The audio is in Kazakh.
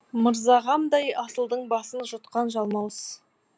мырзағамдай асылдың басын жұтқан жалмауыз